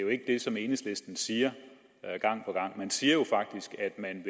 jo ikke det som enhedslisten siger gang på gang man siger jo faktisk at man